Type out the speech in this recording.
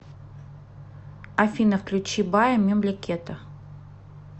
афина включи бая мемлекета